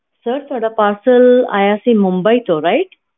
sir ਤੁਹਾਡਾ parcel ਆਇਆ ਸੀ mumbai ਤੋਂ right